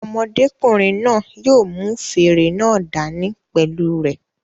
Ọmọdékùnrin náà yóò mú fèrè náà dá ní pẹ̀lú u rẹ̀